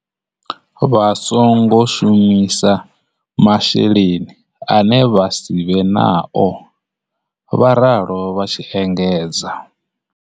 Vha songo shumisa masheleni ane vha si vhe nao, vha ralo vha tshi engedza.